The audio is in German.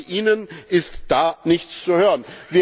Bei Ihnen ist da nichts zu hören.